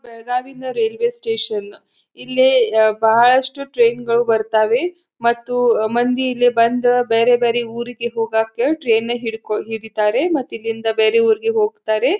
ಬೆಳಗಾಂ ಇಂದ railway station ಇಲ್ಲಿ ಅಹ್ ಬಹಳಷ್ಟು ಟ್ರೇನ್ ಗಳು ಬರತ್ತಾವೆ ಮತ್ತು ಮಂದಿ ಇಲ್ಲಿ ಬಂದು ಬೇರೆ ಬೇರೆ ಊರಿಗೆ ಹೋಗಕ್ಕೆ ಟ್ರೇನ್ ಹಿಡಿಕೋ ಹಿಡಿತ್ತಾರೆ ಮತ್ತೆ ಇಲ್ಲಿಂದ ಬೇರೆ ಊರಿಗೆ ಹೋಗತ್ತಾರೆ.